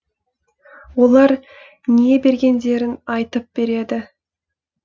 олар не бергендерін айтып береді